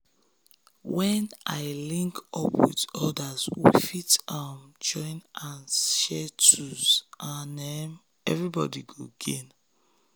when i link up with others we fit um join hand share tools and um everybody go gain.